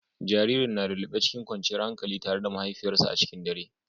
Jaririn na lullube cikin kwanciyar hankali tare da mahaifiyarsa a cikin dare.